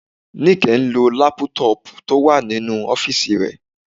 Níkẹ́ ń lo lápútọ̀pù tó wà nínú ọ́fìsì rẹ